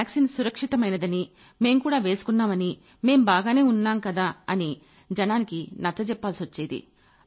ఈ వాక్సీన్ సురక్షితమైనదని మేం కూడా వేసుకున్నామని మేం బాగానే ఉన్నాంకదా అని జనానికి నచ్చజెప్పాల్సొచ్చేది